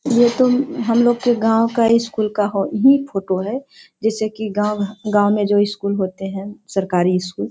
ये तो हम लोग के गांव का स्‍कूल का ही फोटो है जैसे कि गांव गांव में जो स्‍कूल होते है सरकारी स्‍कूल ।